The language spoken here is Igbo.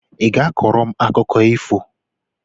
Ị ga-akọrọ m akụkọ ifo?